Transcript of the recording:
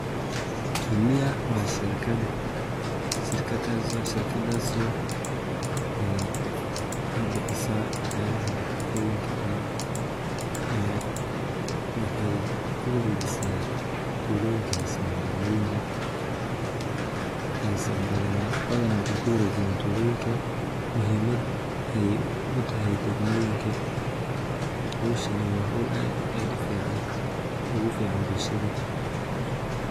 Jumia wa sharkada, sharkadas oo bixiso waxyala nafaqoyinka camal waxay kuwarejisa tuloyinka misna magaloyinka, badhan waxay kuwarejiyan tuloyinka muhimad ay utahay dagmoyinka, howshani wa how aad ufican ugafican bulshada.